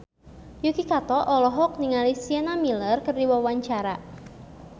Yuki Kato olohok ningali Sienna Miller keur diwawancara